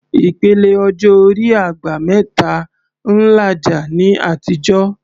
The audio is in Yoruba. Ìpele ọjọ́ orí "àgbà mẹ́ta" ń làjà ní àtijọ́